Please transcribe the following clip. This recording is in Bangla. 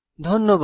ধন্যবাদ